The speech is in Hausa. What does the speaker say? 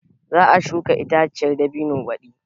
Za a shuka itaciyar dabino badi.